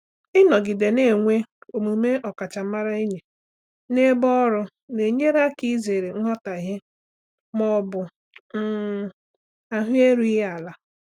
Ịnọgide na-enwe omume ọkachamara enyi na ebe ọrụ na-enyere aka izere nghọtahie ma ọ bụ um ahụ erughị ala.